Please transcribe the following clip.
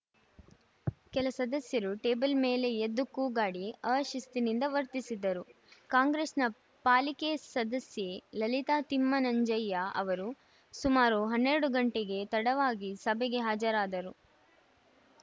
ಕೆಲ ಸದಸ್ಯರು ಟೇಬಲ್‌ ಮೇಲೆ ಎದ್ದು ಕೂಗಾಡಿ ಅ ಶಿಸ್ತಿನಿಂದ ವರ್ತಿಸಿದರು ಕಾಂಗ್ರೆಸ್‌ನ ಪಾಲಿಕೆ ಸದಸ್ಯೆ ಲಲಿತಾ ತಿಮ್ಮನಂಜಯ್ಯ ಅವರು ಸುಮಾರು ಹನ್ನೆರಡು ಗಂಟೆಗೆ ತಡವಾಗಿ ಸಭೆಗೆ ಹಾಜರಾದರು